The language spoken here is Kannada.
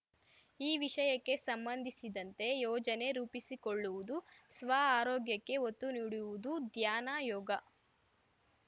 ಈ ವಿಷಯಕ್ಕೆ ಸಂಬಂಧಿಸಿದಂತೆ ಯೋಜನೆ ರೂಪಿಸಿಕೊಳ್ಳುವುದು ಸ್ವಆರೋಗ್ಯಕ್ಕೆ ಒತ್ತು ನೀಡುವುದು ಧ್ಯಾನ ಯೋಗ